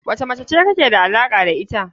Wane mace be kike alaka da ita.